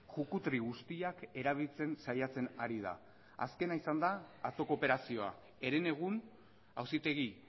jukutri guztiak erabiltzen saiatzen ari da azkena izan da atzoko operazioa herenegun auzitegi